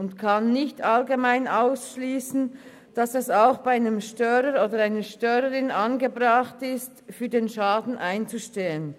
Man kann nicht allgemein ausschliessen, dass es auch bei einem Störer oder einer Störerin angebracht ist, für den Schaden einzustehen.